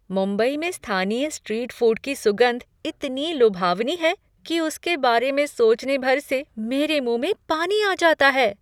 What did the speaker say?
मुंबई में स्थानीय street food की सुगंध इतनी लुभावनी है कि उसके बारे में सोचने भर से मेरे मुंह में पानी आ जाता है!